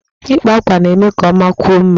Ịkpa àkwá na-eme ka ọmakwuo mma